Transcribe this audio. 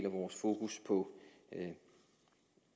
af vores fokus på